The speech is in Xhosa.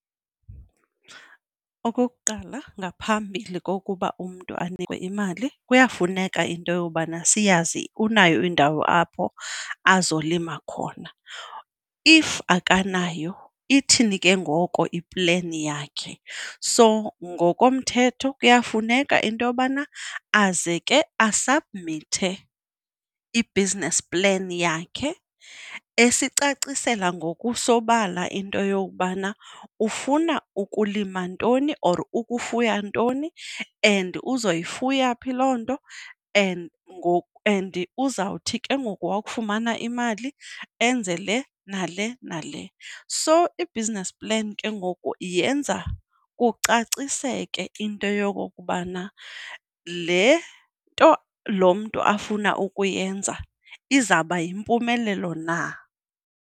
Okokuqala, ngaphambili kokuba umntu anikwe imali kuyafuneka into yobana siyazi unayo indawo apho azolima khona. If akanayo, ithini ke ngoko ipleni yakhe? So ngokomthetho kuyafuneka into yobana aze ke asabhmithe i-business plan yakhe esicacisela ngokusobala into yokubana ufuna ukulima ntoni or ukufuya ntoni and uzoyifuna phi loo nto, and and uzawuthi ke ngoku wawufumana imali enze le nale nale. So i-business plan ke ngoku yenza kucaciseke into yokokubana le nto lo mntu afuna ukuyenza izawuba yimpumelelo na.